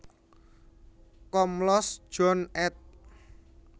Komlos John ed